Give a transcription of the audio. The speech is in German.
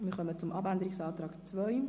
Wir kommen zum Abänderungsantrag 2.